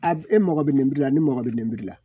A e mago bɛ lenburu la ni mago bɛ nin de la